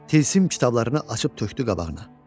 Tilsim kitablarını açıb tökdü qabağına.